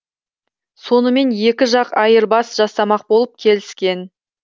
сонымен екі жақ айырбас жасамақ болып келіскен